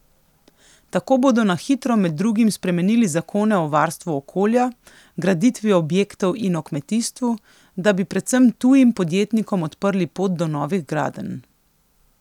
Tako bodo na hitro med drugim spremenili zakone o varstvu okolja, graditvi objektov in o kmetijstvu, da bi predvsem tujim podjetnikom odprli pot do novih gradenj.